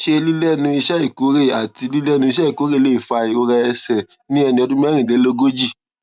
ṣé lílénu iṣé ìkórè àti lílénu iṣé ìkórè lè fa ìrora ẹsè ní ẹni ọdún mérìnlélógójì